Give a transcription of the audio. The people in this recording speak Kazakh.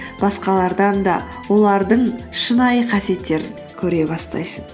басқалардан да олардың шынайы қасиеттерін көре бастайсың